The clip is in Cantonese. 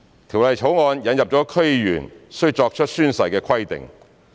《條例草案》引入了區議員須作出宣誓的規定。